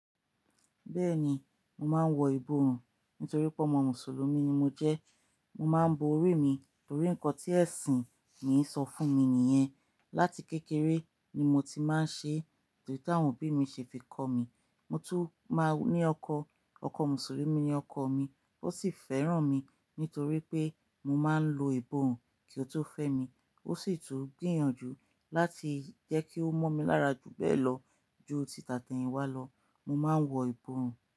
Bẹ́ẹ̀ni, mo máa ń wọ ìborùn nítorí pé ọmọ Mùsùlùmí ni mo jẹ́. Mo máa ń bo orí mi, torí ń kan tí ẹ̀sìn mi ń sọ fún mi nìyẹn. Lati kékeré ni mo ti máa ń ṣe bí táwọn òbí mi ṣe fi kọ́ mi. Mo tún máa ní ọkọ, ọkọ Mùsùlùmí ni ọkọ mi, ó sì fẹ́ràn mi nítorí pé mo máa ń lo ìborùn kí ó tó fẹ́ mi. Ó sì tún gbìyànjú láti jẹ́ kí ó mọ̀ mi lára ju bẹ́ẹ̀ lọ. Ju títà tẹ́yìnwá lọ, mo máa ń wọ ìborùn.